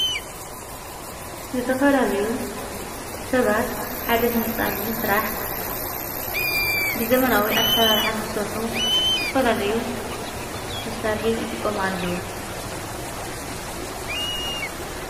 ዝተፈላለዩ ሰባት ሓደ ሕንፃን ምስራሕ ብዘመናዊ ኣሠራርሓ ንክሠርሑ ዝተፈላለዩ መሠርሒ ይጥቖሙ ኣለው።